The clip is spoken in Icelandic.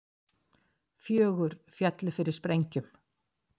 Fjögur féllu fyrir sprengjum